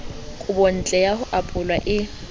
kobontle ya ho apolwa e